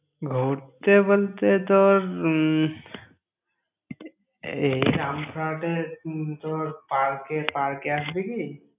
ঘুরতে বলতে তোর উম এই উম তোর park এ park এ আসবি কি?